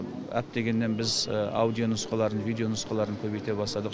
әттегеннен біз аудио нұсқаларын видео нұсқаларын көбейте бастадық